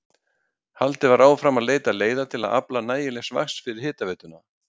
Haldið var áfram að leita leiða til að afla nægilegs vatns fyrir hitaveituna.